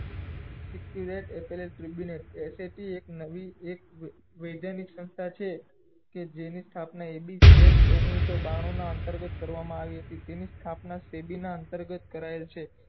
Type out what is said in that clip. S L H લુબીનેત S H U એક નવી એક વૈજ્ઞાનિક સંસ્થા છે કે જેની સ્થાપના એ બી ચેટ ઓઘ્નીસ સૌ બાણું ના અંતર્ગત કરવા મા આવી હતી તેની સ્થાત્પના તે ભી ના અંતર્ગત કરાયેલ છે